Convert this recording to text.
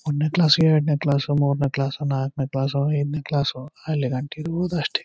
One ನೇ class ಎರಡನೆ class ಮೂರನೇ ಕ್ಲಾಸ್ ನಾಲ್ಕು ನೇ ಕ್ಲಾಸ್ ಐದು ನೇ ಕ್ಲಾಸ್ ಅಲ್ಲಿಗಂಟ ಇರಬಹುದು ಅಷ್ಟೇ.